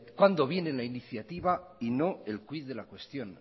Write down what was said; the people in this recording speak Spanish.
cuándo viene la iniciativa y no el quid de la cuestión